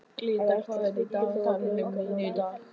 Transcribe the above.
En ætlar Tryggvi Þór að borga lánið?